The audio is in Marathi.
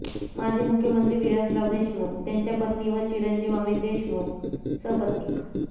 माजी मुख्यमंत्री विलासराव देशमुख यांच्या पत्नी व चिरंजीव अमित देशमुख सपत्नीक